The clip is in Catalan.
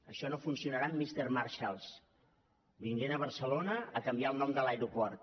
això no funcionarà amb misters marshalls venint a barcelona a canviar el nom de l’aeroport